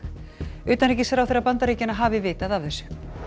utanríkisráðherra Bandaríkjanna hafi vitað af þessu